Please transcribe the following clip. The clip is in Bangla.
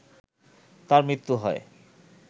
তার মৃত্যু হয়